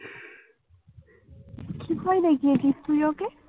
কি ভয় দেখিয়েছিস তুই ওকে?